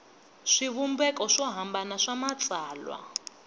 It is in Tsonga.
swivumbeko swo hambana swa matsalwa